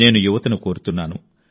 నేను యువతను కోరుతున్నాను